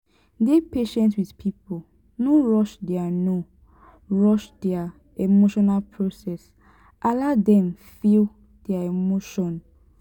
dey patient with pipo no rush their no rush their emotional process allow dem feel their emotion